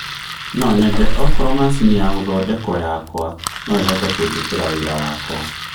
no nyende okorwo macĩnĩ ya gũthondekwo yakwa no ĩhote kũnjĩkĩra wĩra wakwa